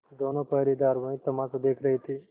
दोनों पहरेदार वही तमाशा देख रहे थे